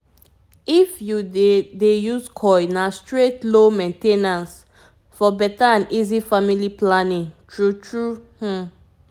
if you dey dey use coil na straight low main ten ance --for better and easy family planning. true trueum.